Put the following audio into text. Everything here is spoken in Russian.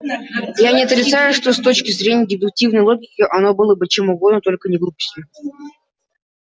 я не отрицаю что с точки зрения дедуктивной логики оно было чем угодно только не глупостью